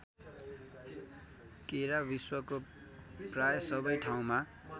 केरा विश्वको प्राय सबै ठाउँमा